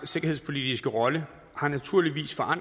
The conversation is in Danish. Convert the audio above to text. liberale parti